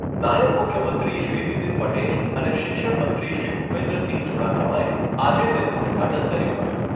નાયબ મુખ્યમંત્રીશ્રી નીતિન પટેલ અને શિક્ષણ મંત્રીશ્રી ભુપેન્દ્રસિંહ ચુડાસમાએ આજે તેનું ઉદ્ઘાટન કર્યું હતું.